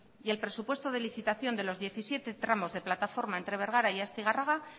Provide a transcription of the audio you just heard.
y el presupuesto de licitación de los diecisiete tramos de plataforma entre bergara y astigarraga